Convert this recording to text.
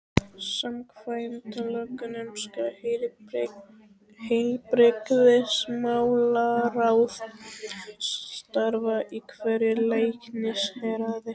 Samkvæmt lögunum skal heilbrigðismálaráð starfa í hverju læknishéraði.